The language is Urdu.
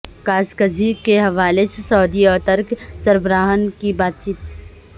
قاشقجی کے حوالے سے سعودی اور ترک سربراہان کی بات چیت